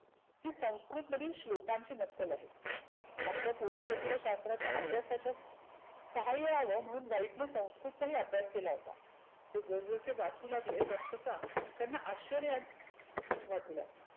ती संस्कृतमधील श्लोकांची नक्कल आहे. आपल्या पुरातत्व शास्राच्या अभ्यासाच्या सहाय्यव म्हणून व्हाईटने संस्कृतचा ही अभ्यास केला होता. ते जस जसे वाचू लागले तसतसा त्यांना अश्चर्या वाटू लागले.